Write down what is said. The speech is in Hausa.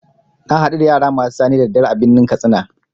Na hadu da yara masu sane da daddare a birnin katsina.